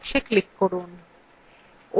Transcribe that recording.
mouse দিয়ে ওই কালো box click করুন